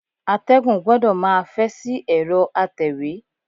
Atẹ́gùn gbọdọ̀ máa fẹ́ sí ẹ̀rọ atẹ̀wé.